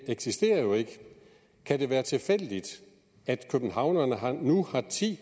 kan det være tilfældigt at københavnerne nu har ti